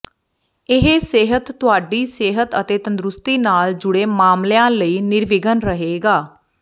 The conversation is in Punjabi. ਇਹ ਸਿਹਤ ਤੁਹਾਡੀ ਸਿਹਤ ਅਤੇ ਤੰਦਰੁਸਤੀ ਨਾਲ ਜੁੜੇ ਮਾਮਲਿਆਂ ਲਈ ਨਿਰਵਿਘਨ ਰਹੇਗਾ